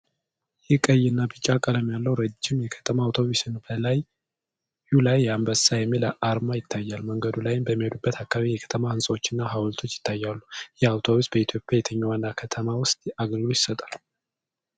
ይህ ቀይ እና ቢጫ ቀለም ያለው ረዥም የከተማ አውቶቡስ ነው። በላዩ ላይ "አንበሳ" የሚል አርማ ይታያል። መንገዱ ላይ በሚሄድበት አካባቢ የከተማ ሕንጻዎች እና ሐውልቶች ይታያሉ። ይህ አውቶቡስ በኢትዮጵያ የትኛው ዋና ከተማ ውስጥ አገልግሎት ይሰጣል?